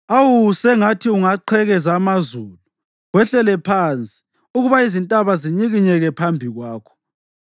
Awu, sengathi ungaqhekeza amazulu wehlele phansi ukuba izintaba zinyikinyeke phambi kwakho!